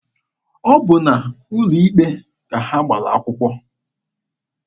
Ọ bụ n'ụlọ ikpe ka ha gbara akwụkwọ.